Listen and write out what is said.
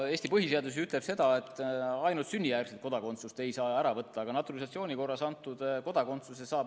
Eesti põhiseadus ütleb, et ainult sünnijärgset kodakondsust ei saa ära võtta, küll aga saab ära võtta naturalisatsiooni korras antud kodakondsuse.